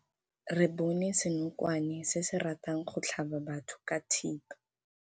Re bone senokwane se se ratang go tlhaba batho ka thipa.